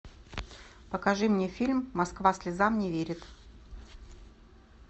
покажи мне фильм москва слезам не верит